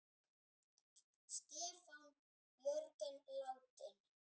Stefán Jörgen látinn.